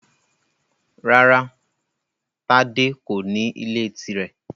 Rárá Tádé kò ní ilé tirẹ.